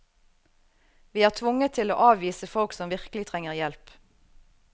Vi er tvunget til å avvise folk som virkelig trenger hjelp.